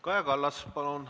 Kaja Kallas, palun!